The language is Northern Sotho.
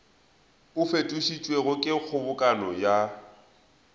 o fetišitšwego ke kgobokano ya